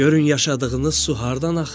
Görün yaşadığınız su hardan axır?